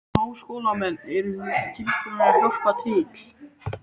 Háskólamenn, eruð þið tilbúnir að hjálpa til?